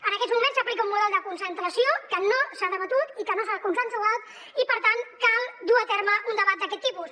en aquests moments s’aplica un model de concentració que no s’ha debatut i que no s’ha consensuat i per tant cal dur a terme un debat d’aquest tipus